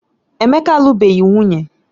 Emeka alubeghị nwunye